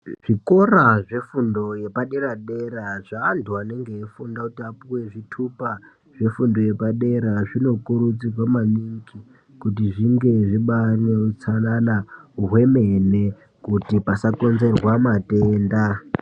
Zvikora zvefundo yepadera dera zvavantu vanenge vachifunda kuti vapiwe zvitupa zvefundo yepadera zvinokurudzirwa maningi kuti zvinge zvichibata neutsanana hwemene kuti pasakonzerwa matenda.